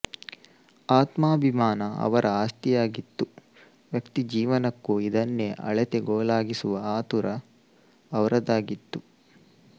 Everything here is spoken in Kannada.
ಆತ್ಮಾಭಿಮಾನ ಅವರ ಆಸ್ತಿಯಾಗಿತ್ತು ವ್ಯಕ್ತಿಜೀವನಕ್ಕೂ ಇದನ್ನೇ ಅಳತೆಗೋಲಾಗಿಸುವ ಆತುರ ಅವರದಾಗಿತ್ತು